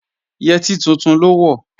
Yẹtí tuntun ló wọ̀